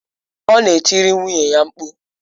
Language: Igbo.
Ọ na-etiri nwunye ya mkpu.